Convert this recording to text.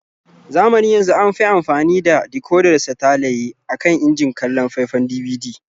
Zamanin yanzu an fi amfani da dikodar satalaye a kan injin kallon faifan DVD.